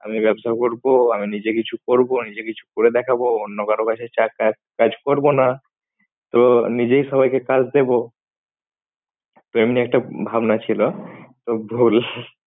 আমি ব্যবসা করব। আমি নিজে কিছু করব। নিজে কিছু করে দেখাবো অন্য কারো কাছে চা~ কা~ কাজ করবো না। তো নিজেই সবাইকে কাজ দেব। তো এমনি একটা ভাবনা ছিল তো ভুল।